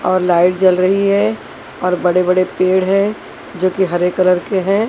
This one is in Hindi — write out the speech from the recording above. और लाइट जल रही है और बड़े बड़े पेड़ है जो कि हरे कलर के हैं।